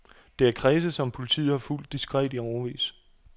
Det er kredse, som politiet har fulgt diskret i årevis.